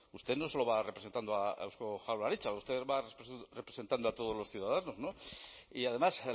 usted no solo va representando a eusko jaurlaritza usted va representando a todos los ciudadanos y además